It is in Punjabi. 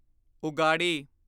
ਉਗਾਡੀ